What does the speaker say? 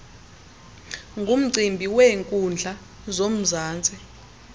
ngumcimbi weenkundla zomzantsi